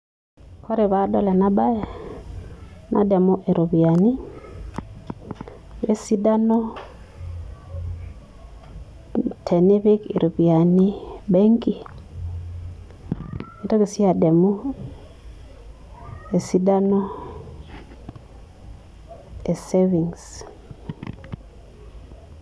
Ore paadol ena baye nadamu iropiyiani oo esidano tenipik iropiyiani benki nintoki sii adamu esidano e savings.